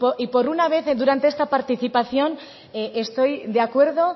y por una vez durante esta participación estoy de acuerdo